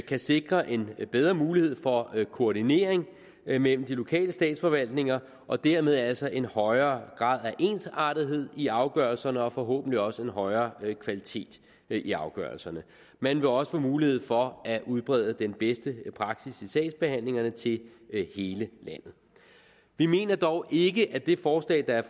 kan sikre en bedre mulighed for koordinering mellem de lokale statsforvaltninger og dermed altså en højere grad af ensartethed i afgørelserne og forhåbentlig også en højere kvalitet i afgørelserne man vil også få mulighed for at udbrede den bedste praksis i sagsbehandlingerne til hele landet vi mener dog ikke at det forslag der er